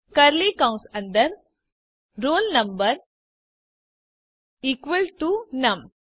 curly કૌસ અંદર roll number equal to num